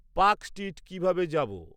Park Street কিভাবে যাব?